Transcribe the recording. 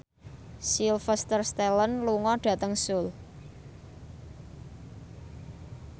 Sylvester Stallone lunga dhateng Seoul